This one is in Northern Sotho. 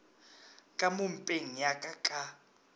ka mo mpeng yaka ka